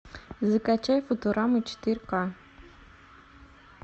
закачай футураму четыре ка